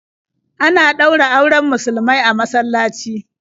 Ana ɗaura auren musulmai a masallaci.